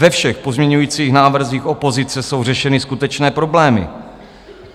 Ve všech pozměňujících návrzích opozice jsou řešeny skutečné problémy.